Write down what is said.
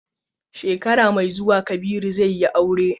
Shekara mai zuwa, Kabiru zai yi aure.